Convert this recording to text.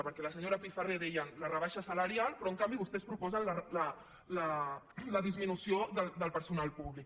perquè la senyora pifarré deia la rebaixa salarial però en canvi vostès proposen la disminució del personal públic